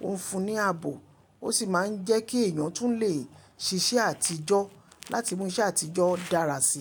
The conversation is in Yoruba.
ó ń fún ní ààbò. Ó sì máa ń jẹ́ kí èèyàn tún lè ṣiṣẹ́ àtijọ́ láti mú iṣẹ́ àtijọ́ dára sí i.